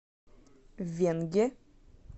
венге